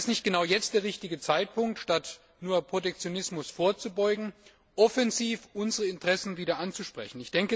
Wäre nicht genau jetzt der richtige Zeitpunkt, statt nur Protektionismus vorzubeugen, offensiv unsere Interessen wieder anzusprechen?